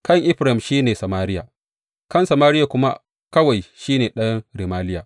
Kan Efraim shi ne Samariya, kan Samariya kuma kawai shi ne ɗan Remaliya.